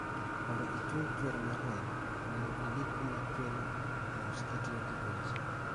Mondo ichung chuer mar remo onego idi kuma chierono mos kitiyo gi gauze